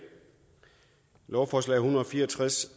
lovforslag en hundrede og fire og tres